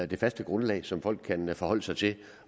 det faste grundlag som folk kan forholde sig til